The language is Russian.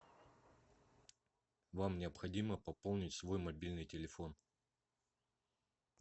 вам необходимо пополнить свой мобильный телефон